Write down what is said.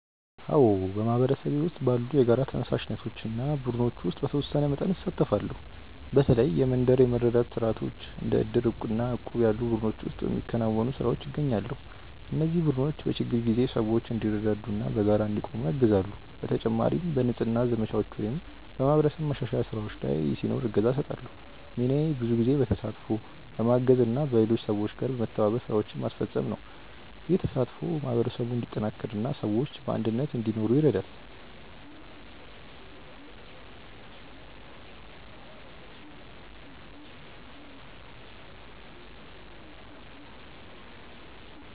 አዎ፣ በማህበረሰቤ ውስጥ ባሉ የጋራ ተነሳሽነቶች እና ቡድኖች ውስጥ በተወሰነ መጠን እሳተፋለሁ። በተለይ የመንደር የመረዳዳት ስርዓቶች እንደ ዕድር እና እቁብ ያሉ ቡድኖች ውስጥ በሚከናወኑ ስራዎች እገኛለሁ። እነዚህ ቡድኖች በችግር ጊዜ ሰዎች እንዲረዳዱ እና በጋራ እንዲቆሙ ያግዛሉ። በተጨማሪም በንጽህና ዘመቻዎች ወይም በማህበረሰብ ማሻሻያ ስራዎች ላይ ሲኖር እገዛ እሰጣለሁ። ሚናዬ ብዙ ጊዜ በተሳትፎ፣ በማገዝ እና በሌሎች ሰዎች ጋር በመተባበር ስራዎችን ማስፈጸም ነው። ይህ ተሳትፎ ማህበረሰቡን እንዲጠናከር እና ሰዎች በአንድነት እንዲኖሩ ይረዳል።